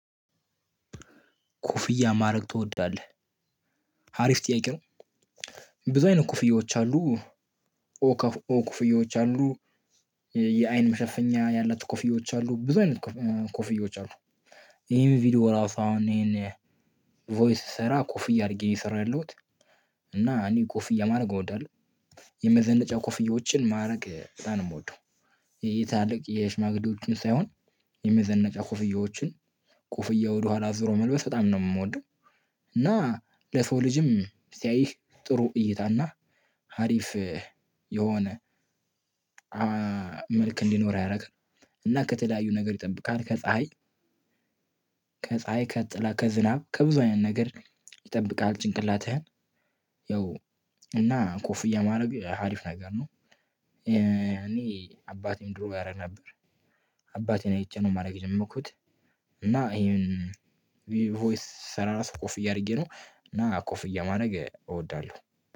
ኮፍያ ማድረግ ትወዳለህ? አሪፍ ጥያቄ ነው። ብዙ አይነት ኮፍያዎች አሉ። ኦ ከኦ ኮፍዬዎች አሉ። የአይን መሸፈኛ ያላት ኮፍዬዎች አሉ ብዙ አይነት ኮፍዬዎች አሉ። ይሄን ቪዲዮ ራሱ አሁን ይሄን ቮይስ ስሰራ ኮፍያ አድርጌ እየሰራ የሰራሁት። እና እኔ ኮፍዬ ማድረግ እወዳለሁ። የመዘነጫ ኮፍዬዎችን ማድረግ በጣም ነው ምወደው። የትላልቅ የሽማግዴዎችን ሳይሆን። የመዘነጪያ ኩፍያዎችን ኩፍያ ወደኋላ አዙሮ መልበስ በጣም ነው ምወደው። እና ለሰው ልጅም ሲያይህ ጥሩ እይታና ሀሪፍ የሆነ መልክ እንዲኖር አያደርግም። እና ከተለያዩ ነገር ይጠብቃል ከፀሀይ። ከፀሀይ ከጥላ ከዝናብ ከብዙ አይነት ነገር ይጠብቃል ጭንቅላትህን። ያው እና ኮፍያ ማድረግ ሀሪፍ ነገር ነው። እኔ አባቴም ድሮ ያደርግ ነበር። አባቴን አይቼ ነው ማድረግ የጀመርኩት። እና ይሄን ቮይስ ስሰራ ራሱ ኮፍያ አድርጌ ነው እና ኮፍያ ማድረግ እወዳለሁ።